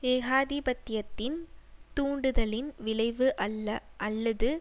ஏகாதிபத்தியத்தின் தூண்டுதலின் விளைவு அல்ல அல்லது